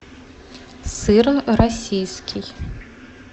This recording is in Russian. сыр российский